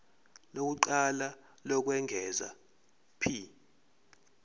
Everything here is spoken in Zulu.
lokuqala lokwengeza p